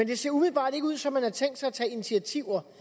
det ser umiddelbart ikke ud som om man har tænkt sig at tage initiativer